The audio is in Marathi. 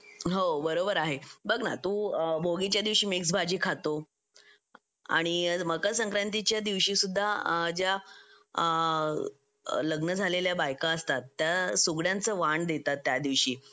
हो बरोबर आहे बघ ना तू भोगीच्या दिवशी मिक्स भाजी खातो आणि मकर संक्रांतीच्या दिवशी सुद्धा ज्या लग्न झालेल्या बायका असतात त्या सुगड्यांच वाण देतात त्या दिवशी